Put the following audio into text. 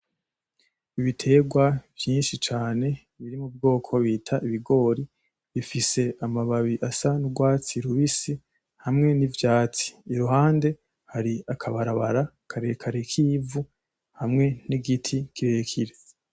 Ibiterwa vyinshi cane biri mubwoko bita ibigori, bifise amababi asa n'urwatsi rubisi hamwe n'ivyatsi iruhande hari akabarabara karekare kivu hamwe n'igiti kirekire.